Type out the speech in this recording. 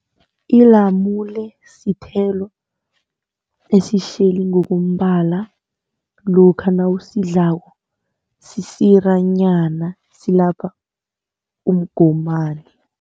Ilamule sithelo esitjheli ngokombala, lokha nawusidlako sisiranyana silapha umgomani.